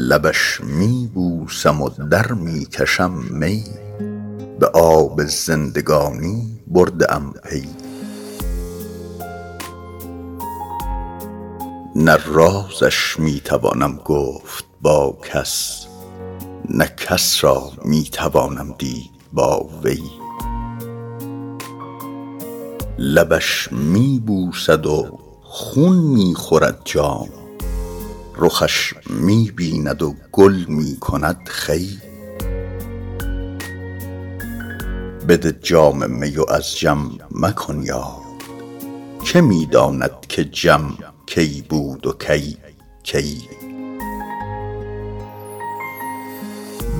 لبش می بوسم و در می کشم می به آب زندگانی برده ام پی نه رازش می توانم گفت با کس نه کس را می توانم دید با وی لبش می بوسد و خون می خورد جام رخش می بیند و گل می کند خوی بده جام می و از جم مکن یاد که می داند که جم کی بود و کی کی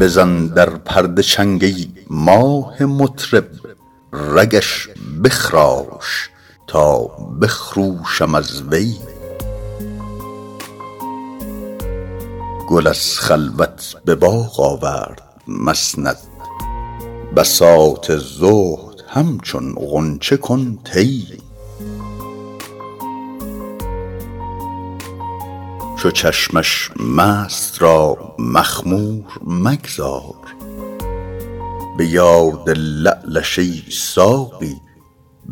بزن در پرده چنگ ای ماه مطرب رگش بخراش تا بخروشم از وی گل از خلوت به باغ آورد مسند بساط زهد همچون غنچه کن طی چو چشمش مست را مخمور مگذار به یاد لعلش ای ساقی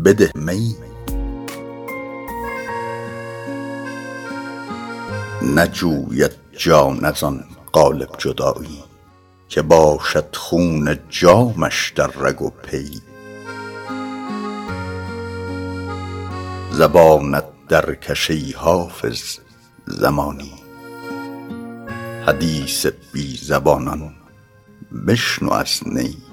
بده می نجوید جان از آن قالب جدایی که باشد خون جامش در رگ و پی زبانت درکش ای حافظ زمانی حدیث بی زبانان بشنو از نی